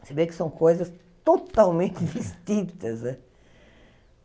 Você vê que são coisas totalmente distintas.